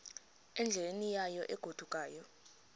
endleleni yayo egodukayo